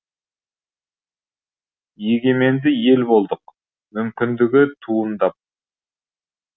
егеменді ел болдық мүмкіндігі туындап